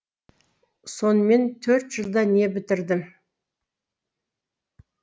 сонымен төрт жылда не бітірдім